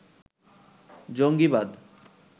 জঙ্গীবাদ